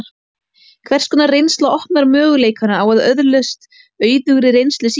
Hvers konar reynsla opnar möguleikana á að öðlast auðugri reynslu síðar?